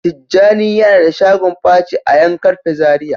Tijjani yana da shagon paci a yan karfe Zaria.